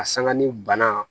A sanga ni banna